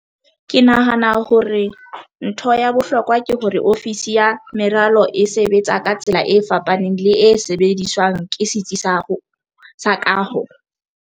"Ke nahana hore ntho ya bohlokwa ke hore ofisi ya meralo e sebetsa ka tsela e fapaneng le e sebediswang ke setsi sa kaho."